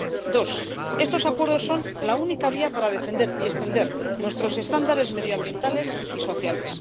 dos, estos acuerdos son la única vía para defender y extender nuestros estándares medioambientales y sociales